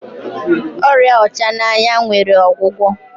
ọrịa ọchananya nwere ogwugwo